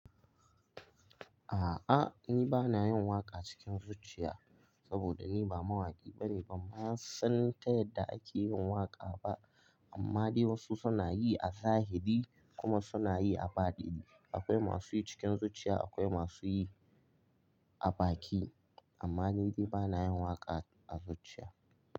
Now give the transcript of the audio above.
A'a ni ba na yin waƙa cikin zuciya saboda ni ba mawaƙi bane, ban ma san ta yadda ake yin waƙa ba. Amma dai wasu suna yi a zahiri kuma suna yi a baɗi. Akwai masu yi cikin zuciya, akwai masu yi a baki. Amma ni dai ba na yin waƙa a zuciya.